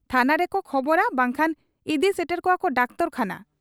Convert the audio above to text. ᱛᱷᱟᱱᱟ ᱨᱮᱠᱚ ᱠᱷᱚᱵᱚᱨᱟ ᱵᱟᱝᱠᱷᱟᱱᱠᱚ ᱤᱫᱤ ᱥᱮᱴᱮᱨ ᱠᱚᱣᱟ ᱰᱟᱠᱴᱚᱨ ᱠᱷᱟᱱᱟ ᱾